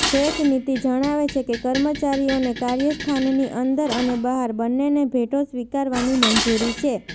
ભેટ નીતિ જણાવે છે કે કર્મચારીઓને કાર્યસ્થાનની અંદર અને બહાર બંનેને ભેટો સ્વીકારવાની મંજૂરી છે